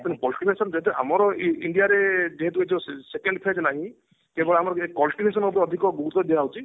ତେଣୁ ଯଦି ଆମର ଏଈ India ରେ ଯେହେତୁ second phase ହେଲାଣି କେବଳ ଆମର ଏଇ ଅଧିକ ଗୁରୁତ୍ଵ ଦିଆଯାଉଛି